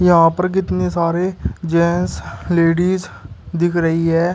यहां पर कितने सारे जेंट्स लेडीज दिख रही है।